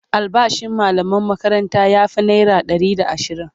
albashin mallaman makaranta ya Fi naira Ɗari da ashirin